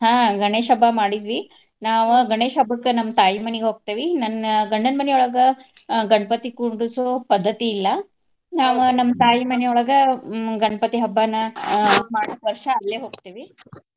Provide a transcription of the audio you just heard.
ಹಾ ಗಣೇಶ್ ಹಬ್ಬಾ ಮಾಡಿದ್ವಿ ನಾವು ಗಣೇಶ್ ಹಬ್ಬಕ್ಕ ನಮ್ಮ ತಾಯಿ ಮನೆಗ ಹೋಗ್ತೇವಿ. ನನ್ನ ಗಂಡನ ಮನಿಯೊಳಗ ಆ ಗಣಪತಿ ಕುಂದುರ್ಸೊ ಪದ್ದತಿ ಇಲ್ಲಾ. ನಮ್ಮ್ ತಾಯಿ ಮನೆಯೊಳಗ ಹ್ಮ್ ಗಣಪತಿ ಹಬ್ಬಾನ ಆ ಮಾಡಾಕ ವರ್ಷಾ ಅಲ್ಲೆ ಹೋಗ್ತೇವಿ.